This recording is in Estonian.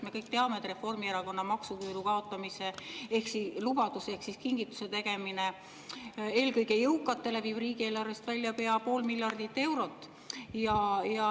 Me kõik teame, et Reformierakonna maksuküüru kaotamise lubadus ehk kingituse tegemine eelkõige jõukatele viib riigieelarvest välja pea pool miljardit eurot.